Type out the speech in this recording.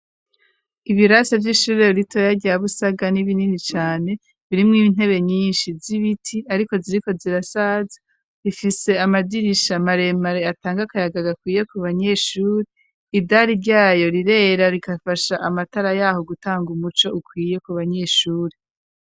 Ibirasa vy'ishuri ritoya rya Busaga ni binini cane birimw'intebe nyinshi z'ibiti ariko ziriko zirasaza .Rifise amadirisha maremare atanga kayaga gakwiye ku banyeshuri idari ryayo rirera rikafasha amatara yaho gutanga umuco ukwiye ku banyeshuri.